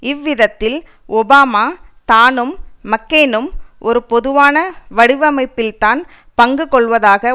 இவ்விதத்தில் Obama தானும் மக்கெயினும் ஒரு பொதுவான வடிவமைப்பில்தான் பங்கு கொள்ளுவதாக